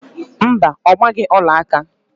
Mba, ọ gbaghị ọlaaka